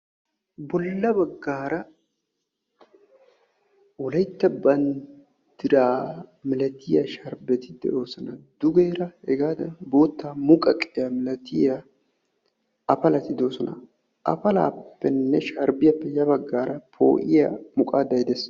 bolla baggara wolaytta banddira malatiyaa miliaatiyaa sharbbeti de'oosona dugeera hegadan boottaa muqaqqiyaa milatiyaa apalati de'oosona apalappenne sharbbiyaappe ya baggara po'iyaa muqadday des.